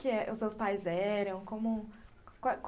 os seus pais eram... como...